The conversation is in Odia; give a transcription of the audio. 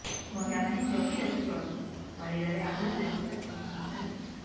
ମହିଳାମାନେ ଜଗିରଖି ଚଳନ୍ତୁ ଶରୀରରେ ଆଘାତ ଲାଗିବାର ସମ୍ଭାବନା ରହିଛି